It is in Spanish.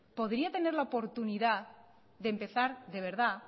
podría tener la oportunidad de empezar de verdad